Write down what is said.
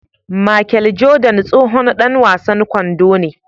Machel Jordan tsohon Dan wasan kwando ne